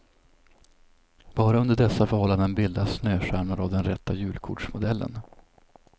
Bara under dessa förhållanden bildas snöstjärnor av den rätta julkortsmodellen.